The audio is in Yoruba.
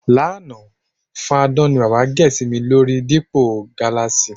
Lánàá, fadán ni bábà gè̩ sí mi lórí dípò gáláàsì.